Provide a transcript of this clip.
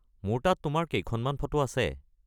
মোৰ তাত তোমাৰ কেইখনমান ফটো আছে।